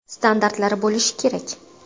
Standartlari bo‘lishi kerak.